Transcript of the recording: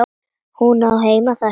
Hún á heima þar sko.